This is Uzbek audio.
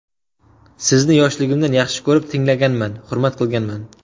Sizni yoshligimdan yaxshi ko‘rib tinglaganman, hurmat qilganman.